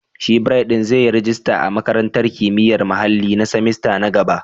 Shin Bright zai yi rajista a Makarantar Kimiyyar Muhalli na semester na gaba?